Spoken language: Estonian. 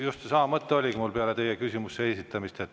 Just seesama mõte oligi mul peale teie küsimuse esitamist.